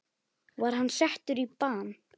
Var hann settur í bann?